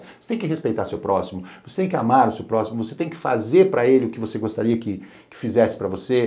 Você tem que respeitar o seu próximo, você tem que amar o seu próximo, você tem que fazer para ele o que você gostaria que ele fizesse para você.